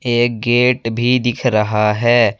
एक गेट भी दिख रहा है।